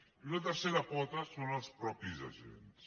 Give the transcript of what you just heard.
i una tercera pota són els mateixos agents